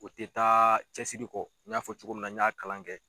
O te taa cɛsiri kɔ, n y'a fɔ cogo min na, n y'a kalan kɛ